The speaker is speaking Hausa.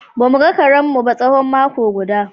Ba mu ga karenmu tsawon mako guda.